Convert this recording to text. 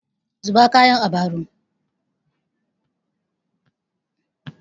Zuba kayan a baro!